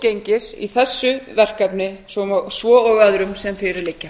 gengis í þessu verkefni sem og öðrum sem fyrir liggja